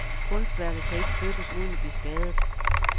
Kunstværket kan ikke flyttes uden at blive skadet.